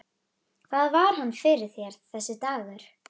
Hvað var hann fyrir þér, þessi dagur.